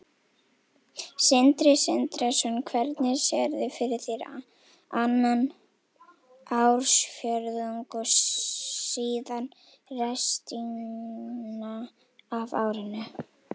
Sindri Sindrason: Hvernig sérðu fyrir þér annan ársfjórðung og síðan restina af árinu?